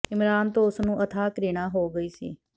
ਇਮਰਾਨ ਤੋਂ ਉਸ ਨੂੰ ਅਥਾਹ ਘ੍ਰਿਣਾਂ ਹੋ ਗਈ ਸੀ